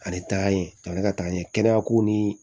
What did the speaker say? Ale taa ye ka ne ka taa n ye kɛnɛya ko nii